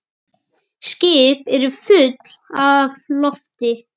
Skip eru full af lofti